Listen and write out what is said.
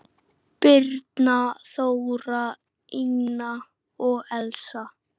Birna, Þóra, Ína og Elsa.